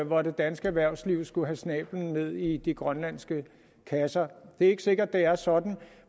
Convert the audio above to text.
hvor det danske erhvervsliv skulle have snabelen ned i de grønlandske kasser det er ikke sikkert det er sådan